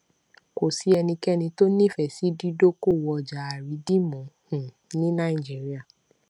kò sí ẹnikẹni tó nífẹẹ sí dídókòwò ọjà àrídìmú um ní nàìjíríà